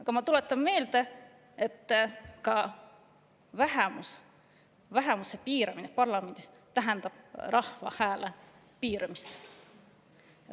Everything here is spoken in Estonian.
Aga ma tuletan meelde, et vähemuse piiramine parlamendis tähendab rahva hääle piiramist.